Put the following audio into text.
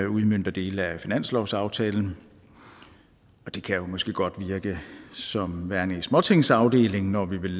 udmønter dele af finanslovsaftalen det kan måske godt virke som værende i småtingsafdelingen når vi vil